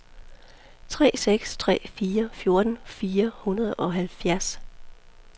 tre seks tre fire fjorten fire hundrede og halvfjerds